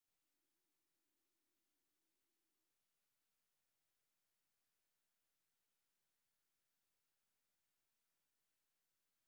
Dugsiyada waxay udiyaariyaan ardayda inay xalliyaan arrimaha gudaha iyo kuwa caalamiga ah.